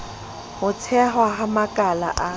ho thehwa ha makala a